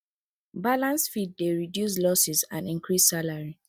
balanced feed dey reduce losses and increase salary